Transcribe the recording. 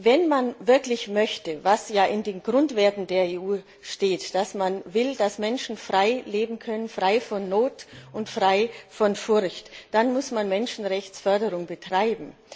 Wenn man wirklich möchte, was ja in den Grundwerten der EU steht, dass man will, dass Menschen frei leben können, frei von Not und frei von Furcht, dann muss man Menschenrechtsförderung betreiben.